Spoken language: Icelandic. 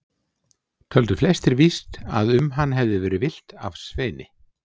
Töldu flestir víst að um hann hefði verið villt af Sveini.